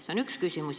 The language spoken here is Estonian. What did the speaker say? See on üks küsimus.